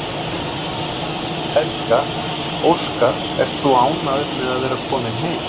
Helga: Óskar, ert þú ánægður með að vera kominn heim?